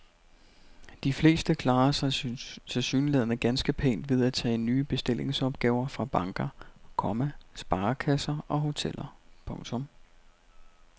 De fleste klarer sig tilsyneladende ganske pænt ved at tage nye bestillingsopgaver fra banker, komma sparekasser og hoteller. punktum